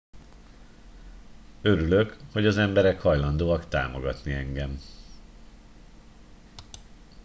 örülök hogy az emberek hajlandóak támogatni engem